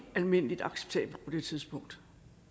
almindelig acceptabelt på det tidspunkt